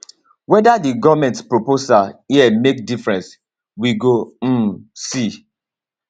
weda di goment proposal here make difference we go um see